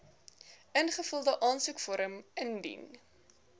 ingevulde aansoekvorm indien